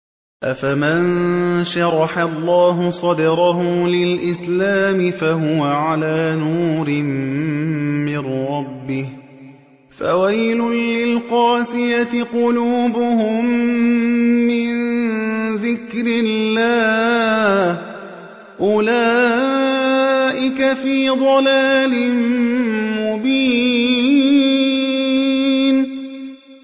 أَفَمَن شَرَحَ اللَّهُ صَدْرَهُ لِلْإِسْلَامِ فَهُوَ عَلَىٰ نُورٍ مِّن رَّبِّهِ ۚ فَوَيْلٌ لِّلْقَاسِيَةِ قُلُوبُهُم مِّن ذِكْرِ اللَّهِ ۚ أُولَٰئِكَ فِي ضَلَالٍ مُّبِينٍ